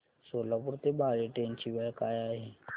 सोलापूर ते बाळे ट्रेन ची वेळ काय आहे